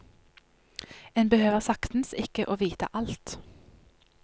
En behøver saktens ikke å vite alt.